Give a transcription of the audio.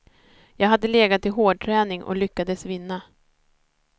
Jag hade legat i hårdträning och lyckades vinna.